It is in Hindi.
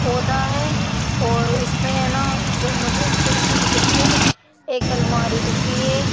पौधा है और इसमें है ना जो मुझे एक खिड़की दिख रही है एक अलमारी दिख रही है।